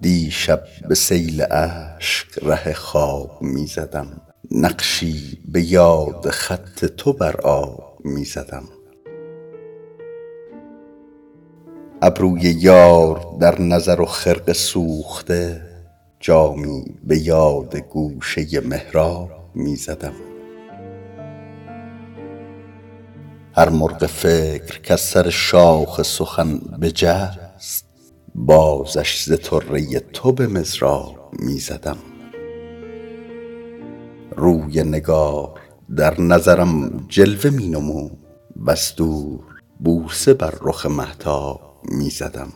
دیشب به سیل اشک ره خواب می زدم نقشی به یاد خط تو بر آب می زدم ابروی یار در نظر و خرقه سوخته جامی به یاد گوشه محراب می زدم هر مرغ فکر کز سر شاخ سخن بجست بازش ز طره تو به مضراب می زدم روی نگار در نظرم جلوه می نمود وز دور بوسه بر رخ مهتاب می زدم